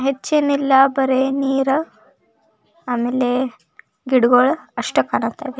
ಹೆಚ್ಚೇನಿಲ್ಲ ಬರೇ ನೀರ ಆಮೇಲೆ ಗಿಡಗೋಳ ಅಷ್ಟೇ ಕಣಕತ್ತದಿ.